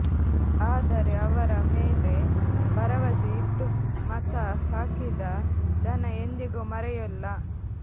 ಆದರೆ ಆವರ ಮೇಲೆ ಭರವಸೆ ಇಟ್ಟು ಮತ ಹಾಕಿದ ಜನ ಎಂದಿಗೂ ಮರೆಯೊಲ್ಲ